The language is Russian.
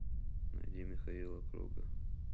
найди михаила круга